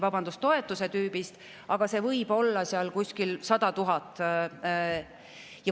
Sõltub toetuse tüübist, aga neid võib olla seal kuskil 100 000.